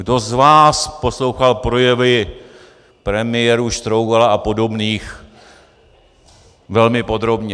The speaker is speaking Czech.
Kdo z vás poslouchal projevy premiérů Štrougala a podobných velmi podrobně?